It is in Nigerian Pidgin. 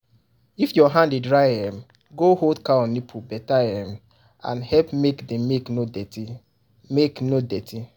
if your hand dry e um go hold cow nipple better um and help make the milk no dirty. milk no dirty.